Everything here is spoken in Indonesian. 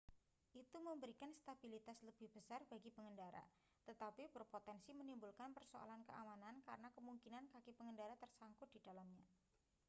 itu memberikan stabilitas lebih besar bagi pengendara tetapi berpotensi menimbulkan persoalan keamanan karena kemungkinan kaki pengendara tersangkut di dalamnya